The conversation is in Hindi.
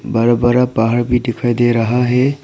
बड़ा बड़ा पहाड़ भी दिखाई दे रहा है।